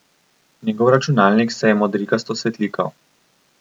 Njegov računalnik se je modrikasto svetlikal.